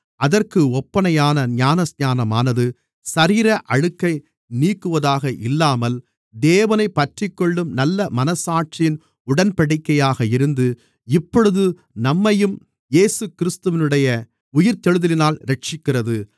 அதற்கு ஒப்பனையான ஞானஸ்நானமானது சரீர அழுக்கை நீக்குவதாக இல்லாமல் தேவனைப் பற்றிக்கொள்ளும் நல்ல மனச்சாட்சியின் உடன்படிக்கையாக இருந்து இப்பொழுது நம்மையும் இயேசுகிறிஸ்துவினுடைய உயிர்த்தெழுதலினால் இரட்சிக்கிறது